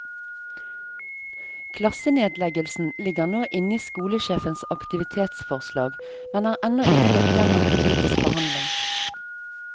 Klassenedleggelsen ligger nå inne i skolesjefens aktivitetsforslag, men er ennå ikke gått gjennom politisk behandling.